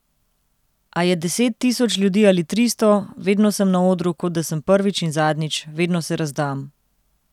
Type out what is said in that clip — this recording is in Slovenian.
A je deset tisoč ljudi ali tristo, vedno sem na odru kot da sem prvič in zadnjič, vedno se razdam.